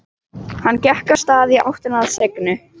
Hann gekk af stað í áttina að Signu.